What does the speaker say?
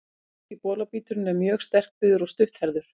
Ameríski bolabíturinn er mjög sterkbyggður og stutthærður.